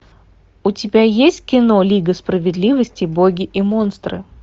у тебя есть кино лига справедливости боги и монстры